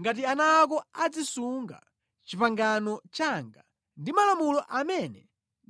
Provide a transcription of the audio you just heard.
ngati ana ako azisunga pangano langa ndi malamulo amene